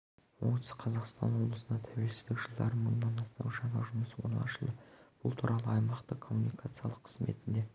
оңтүстік қазақстан облысында тәуелсіздік жылдары мыңнан астам жаңа жұмыс орны ашылды бұл туралы аймақтық коммуникациялар қызметінде